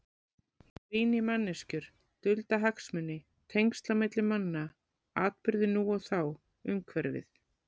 Ég rýni í manneskjur, dulda hagsmuni, tengsl á milli manna, atburði nú og þá, umhverfið.